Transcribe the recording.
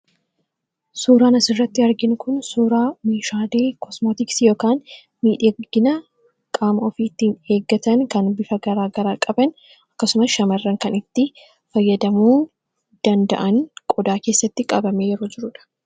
Suuraan asirratti arginu kun suuraa meeshaalee kosmootiksii yookan miidhagina qaamaa of ittiin eeggatanidha.